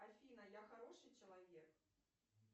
афина я хороший человек